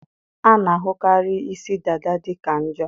a na-ahụkarị isi dada dị ka njo